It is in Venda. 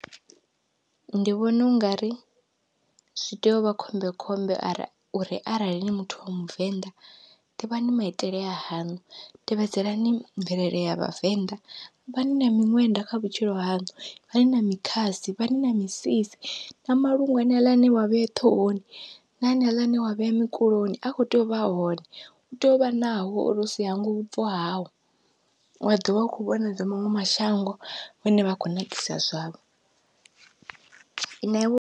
Ndi vhona ungari zwi tea uvha khombekhombe are uri arali ni muthu wa muvenḓa ḓivhani maitele a haṋu, tevhedzelani mvelele ya vhavenḓa ivhani na miṅwenda kha vhutshilo haṋu ivhani na mikhasi ivhani na misisi na malungu haneaḽa ane wa vhea ṱhohoni, na haneaḽa ane wa vhea mukuloni a kho tea uvha a hone utea uvha nao uri usi hangwe vhubvo hau, wa ḓovha u kho vhona zwa maṅwe mashango vhane vha khou nakisa zwavho na iwe.